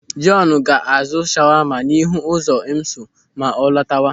Jọọnu ga-azụ shawama n'ihu ụzọ IMSU ma ọ latawa.